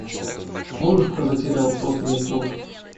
можешь показать сериал просто нет слов